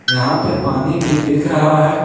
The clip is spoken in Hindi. यहां पे पानी भी दिख रहा है।